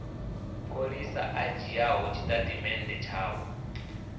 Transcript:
pholisa a dzhiaho tshitatamennde tshavho